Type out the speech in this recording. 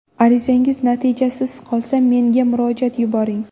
Arizangiz natijasiz qolsa, menga murojaat yuboring.